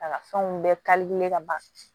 A ka fɛnw bɛɛ ka ban